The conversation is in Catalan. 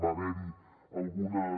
va haver hi algunes